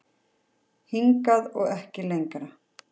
Hingað og ekki lengra